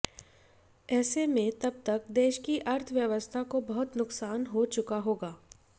एसे में तबतक देश की अर्थव्यवस्था को बहुत नुकसान हो चुका होगा